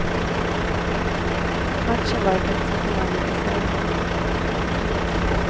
Matchen var i praktiken avgjord på förhand.